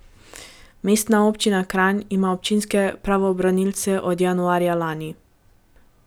Mestna občina Kranj ima občinske pravobranilce od januarja lani.